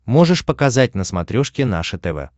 можешь показать на смотрешке наше тв